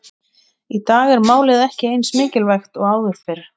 Í dag er málið ekki eins mikilvægt og áður fyrr.